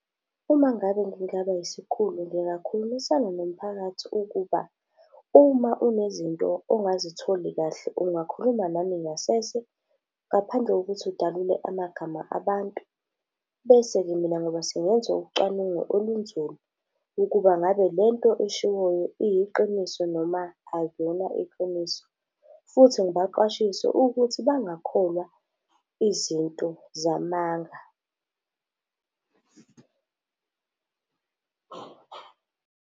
Uma ngabe ngingaba isikhulu ngingakhulumisana nomphakathi ukuba, uma unezinto ongazitholi kahle, ungakhuluma nami ngasese ngaphandle kokuthi udalule amagama abantu. Bese-ke mina ngobe sengenza ucwaningo olunzulu, ukuba ngabe lento eshiwoyo iyiqiniso noma akuyona iqiniso. Futhi ngibaqwashise ukuthi bangakholwa izinto zamanga.